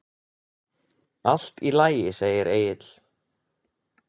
Allt í lagi, segir Egill.